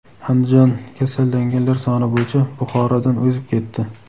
Andijon kasallanganlar soni bo‘yicha Buxorodan o‘zib ketdi.